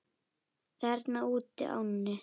Þarna útí ánni?